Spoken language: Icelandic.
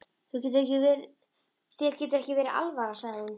Þér getur ekki verið alvara, sagði hún.